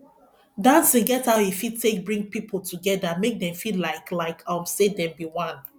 dancing get how e fit take bring pipo together make dem feel like like um sey dem be one